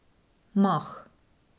Mah.